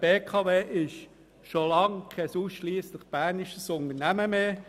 Die BKW ist schon lange kein ausschliesslich bernisches Unternehmen mehr.